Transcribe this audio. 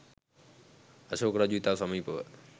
අශෝක රජු ඉතා සමීපව